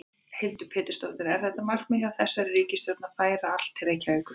Hildur Pétursdóttir: Er þetta markmið hjá þessari ríkisstjórn að færa allt til Reykjavíkur?